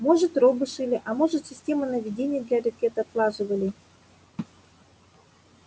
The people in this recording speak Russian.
может робы шили а может системы наведения для ракет отлаживали